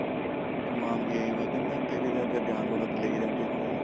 ਸਮਾਨ ਵੀ ਐਹੀ ਮੈਂ ਕਹਿਨਾ ਜਾਨਵਰਾਂ ਤੇ ਲੈ ਕੇ ਜਾਂਦੇ ਹੋਣੇ ਆ